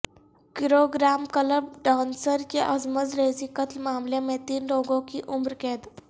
Gurugram club dancer کی عصمت ریزی قتل معاملے میں تین لوگوں کو عمر قید